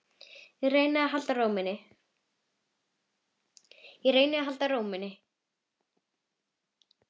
Reyna að halda ró minni.